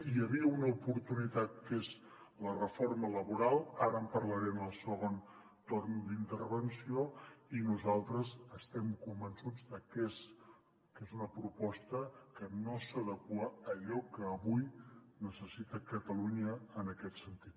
hi havia una oportunitat que és la reforma laboral ara en parlaré en el segon torn d’intervenció i nosaltres estem convençuts de que és una proposta que no s’adequa a allò que avui necessita catalunya en aquest sentit